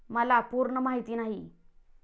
मला पूर्ण माहिती नाही.